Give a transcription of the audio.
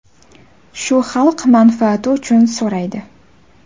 shu xalq manfaati uchun so‘raydi.